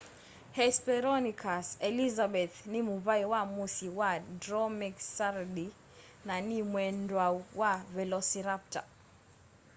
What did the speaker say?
hesperonychus elizabethae nĩ mũvaĩ wa mũsyĩ wa dromaeosauridae na nĩ mwendwau wa velociraptor